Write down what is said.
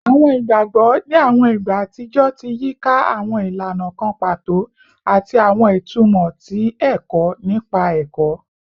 Awọn igbagbọ ni awọn igba atijọ ti yika awọn ilana kan pato ati awọn itumọ ti ẹkọ nipa ẹkọ